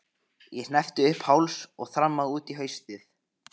Ég hneppti upp í háls og þrammaði út í haustið.